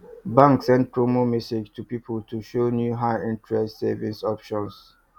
bank send promo message to people to show new highinterest savings option